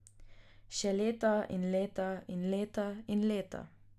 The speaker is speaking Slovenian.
Še leta in leta in leta in leta...